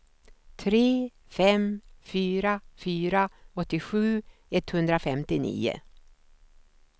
tre fem fyra fyra åttiosju etthundrafemtionio